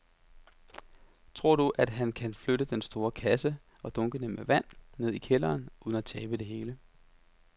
Tror du, at han kan flytte den store kasse og dunkene med vand ned i kælderen uden at tabe det hele?